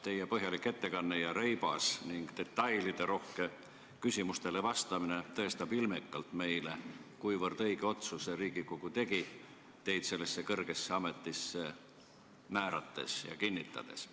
Teie põhjalik ettekanne ja reibas ning detailirohke küsimustele vastamine tõestab meile ilmekalt, kuivõrd õige otsuse Riigikogu tegi, teid sellesse kõrgesse ametisse määrates ja kinnitades.